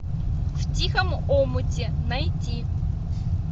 в тихом омуте найти